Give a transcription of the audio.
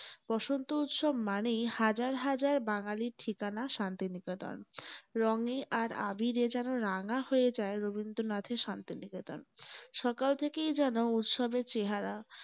বসন্ত উৎসব মানেই হাজার হাজার বাঙালীর ঠিকানা শান্তি নিকেতন। রঙে আর আবীরে যেন রাঙা হয়ে যায় রবীন্দ্রনাথের শান্তি নিকেতন । সকাল থেকেই যেন উৎসবের চেহারা ।